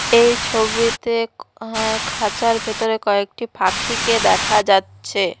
এই ছবিতে হ্যাঁ খাঁচার ভেতরে কয়েকটি পাখিকে দেখা যাচ্ছে।